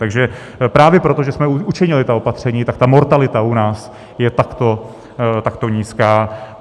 Takže právě proto, že jsme učinili ta opatření, tak ta mortalita u nás je takto nízká.